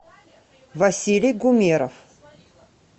василий гумеров